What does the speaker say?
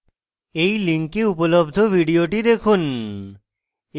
এই link উপলব্ধ video দেখুন